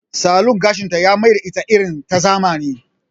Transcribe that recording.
Salon gashinta ya mai da ita irin ta zamani.